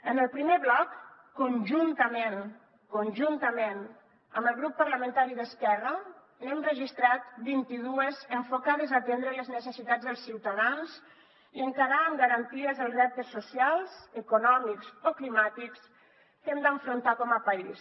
en el primer bloc conjuntament conjuntament amb el grup parlamentari d’esquerra n’hem registrat vint i dues enfocades a atendre les necessitats dels ciutadans i encarar amb garanties els reptes socials econòmics o climàtics que hem d’afrontar com a país